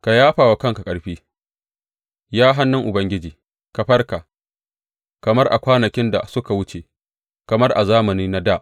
Ka yafa wa kanka ƙarfi, Ya hannun Ubangiji; ka farka, kamar a kwanakin da suka wuce, kamar a zamanai na dā.